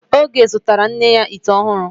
Oge zụtara nne ya ite unyahu